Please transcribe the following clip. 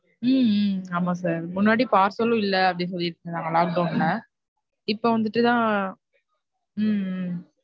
ஹம் ஆமா sir முன்னாடி parcel இல்ல அப்படின்னு சொல்லிட்டு இருந்தாங்க lockdown ல இப்ப வந்துட்டு தான் . உம்